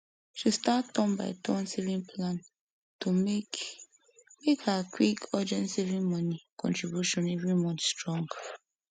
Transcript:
she start turn by turn saving plan to make make her quick urgent saving money contribution every month strong